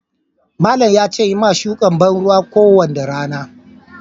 Malam in Yi ma shukan banruwa kowanda rana.